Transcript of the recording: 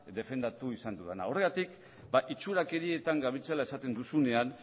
defendatu izan dudana horregatik itxurakerietan gabiltzala esaten duzunean